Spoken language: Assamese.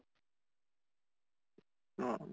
অহ